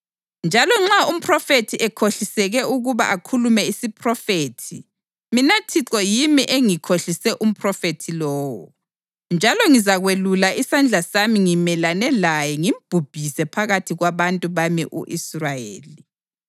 Njalo nxa umphrofethi ekhohliseke ukuba akhulume isiphrofethi, mina Thixo yimi engikhohlise umphrofethi lowo, njalo ngizakwelula isandla sami ngimelane laye ngimbhubhise phakathi kwabantu bami u-Israyeli.